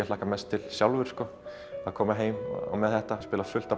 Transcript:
hlakkar mest til sjálfur sko að koma heim og með þetta spila fullt af